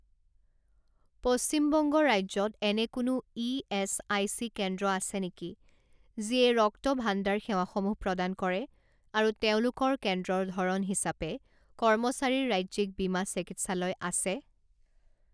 পশ্চিম বংগ ৰাজ্যত এনে কোনো ইএচআইচি কেন্দ্ৰ আছে নেকি যিয়ে ৰক্তভাণ্ডাৰ সেৱাসমূহ প্ৰদান কৰে আৰু তেওঁলোকৰ কেন্দ্ৰৰ ধৰণ হিচাপে কৰ্মচাৰীৰ ৰাজ্যিক বীমা চিকিৎসালয় আছে?